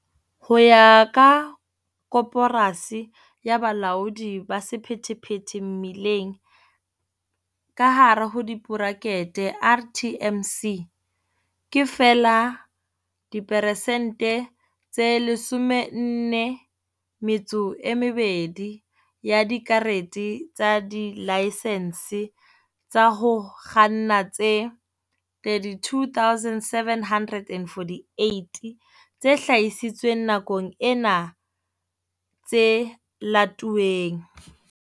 Ho ya ka Koporasi ya Bolaodi ba Sephethephethe Mebileng, ka hare hu diborakete RTMC, ke feela diperesente tse 42 ya dikarete tsa dilaesense tsa ho kganna tse 32 748 tse hlahisitsweng nakong ena tse latuweng.